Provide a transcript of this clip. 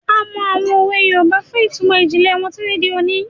A mọ àwọn òwe Yorùbá fún ìtumọ̀ ìjìnlẹ̀ wọn títí di òní.